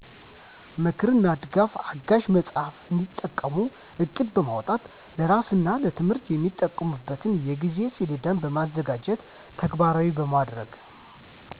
ምክርና ድጋፍ አጋዥ መጽሃፍ እንዲጠቀሙ ዕቅድ በማውጣት ለስራና ለትምህርት የሚጠቀሙበትን የጊዜ ሰሌዳዎችን በማዘጋጀትና ተግባራዊ በማድረግ